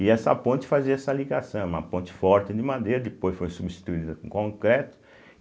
E essa ponte fazia essa ligação, uma ponte forte de madeira, depois foi substituída por concreto.